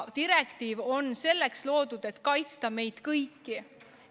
Direktiiv on loodud selleks, et kaitsta meid kõiki.